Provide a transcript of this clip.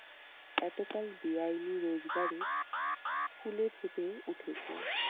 এতকাল বেআইনি রোজগারে ফুলে ফেঁপে উঠেছে।